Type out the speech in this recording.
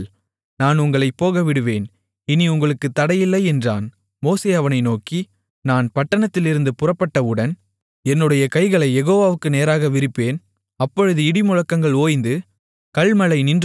மோசே அவனை நோக்கி நான் பட்டணத்திலிருந்து புறப்பட்டவுடன் என்னுடைய கைகளைக் யெகோவாவுக்கு நேராக விரிப்பேன் அப்பொழுது இடிமுழக்கங்கள் ஓய்ந்து கல்மழை நின்றுபோகும் அதினால் பூமி யெகோவாவுடையது என்பதை நீர் அறிவீர்